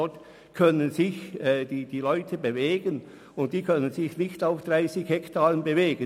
Dort können sich die Leute bewegen, was sie auf 30 Hektaren nicht könnten.